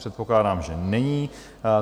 Předpokládám, že není.